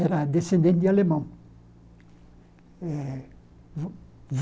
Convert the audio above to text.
Era descendente de alemão. Eh